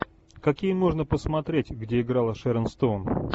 какие можно посмотреть где играла шэрон стоун